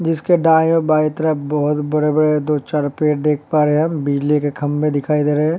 जिसके दाये और बाये तरफ बहोत बड़े-बड़े दो चार पेड़ देख पा रहे हैं हम। बिजली के खम्बे दिखाई दे रहे हैं।